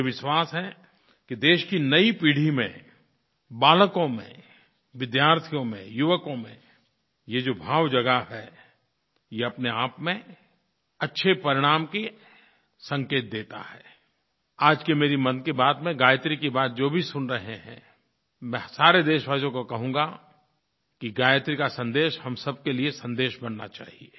मुझे विश्वास है कि देश की नयी पीढ़ी में बालकों में विद्यार्थियों में युवकों में ये जो भाव जगा है ये अपनेआप में अच्छे परिणाम के संकेत देता हैI आज की मेरी मन की बात में गायत्री की बात जो भी सुन रहे हैं मैं सारे देशवासियों को कहूँगा कि गायत्री का संदेश हम सब के लिये संदेश बनना चाहिए